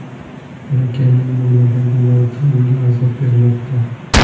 Bolakayning bo‘ynidagi naycha unga azob bermoqda.